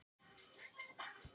Vil ekki spá.